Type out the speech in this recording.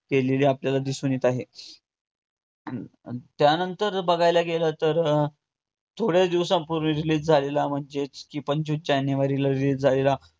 केलेला आपल्याला दिसून येत आहे. त्या नंतर बघायला गेलं तर, अं थोड्या दिवसापूर्वी release झालेला म्हणजेच की पंचवीस जानेवारीला release झालेला पठाण हा movie